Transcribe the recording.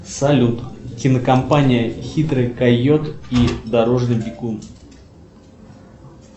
салют кинокомпания хитрый койот и дорожный бегун